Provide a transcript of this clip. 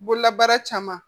Bololabaara caman